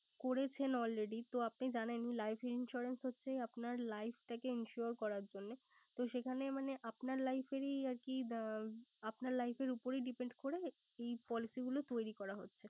করেছেন already তো জানেন life insurance হচ্ছে life টাকে insure করার জন্য। তো সেখানে মানে আপনার life এর আরকি আপনার life এর উপরেই depend করে এই policy গুলো তৈরি করা হচ্ছে।